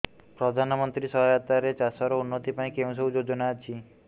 ପ୍ରଧାନମନ୍ତ୍ରୀ ସହାୟତା ରେ ଚାଷ ର ଉନ୍ନତି ପାଇଁ କେଉଁ ସବୁ ଯୋଜନା ଅଛି